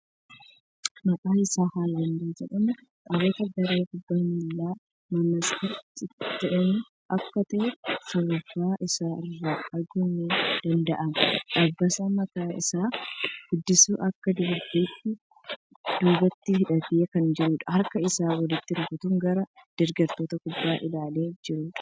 Maqaan isaa Haaland jedhama. Taphataa garee kubbaa miilaa "Manchester City" jedhamu akka ta'e shurraaba isaa irraa arguun ni danda'ama. Dabbasaa mataa isaa guddisuun akka dubartittii dubatti hidhatee kan jiruudha. Harka isaa walitti rukutuun gara deggartoota kubbaa ilaalee kan jiruudha.